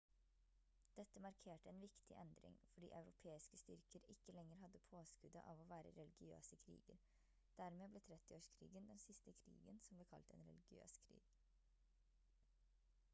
dette markerte en viktig endring fordi europeiske styrker ikke lenger hadde påskuddet av å være religiøse kriger dermed ble 30-årskrigen den siste krigen som ble kalt en religiøs krig